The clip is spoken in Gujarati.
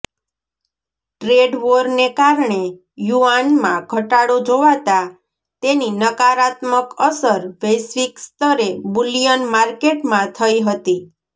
ટ્રેડ વોરને કારણે યુઆનમાં ઘટાડો જોવાતાં તેની નકારાત્મક અસર વૈશ્વિક સ્તરે બુલિયન માર્કેટમાં થઈ હતી